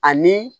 Ani